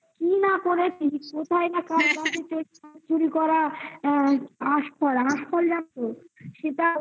কি না করেছি কোথায় না চুরি করা আশফল, আশফল জানো তো?